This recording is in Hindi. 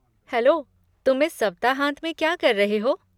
हैलो, तुम इस सप्ताहांत में क्या कर रहे हो?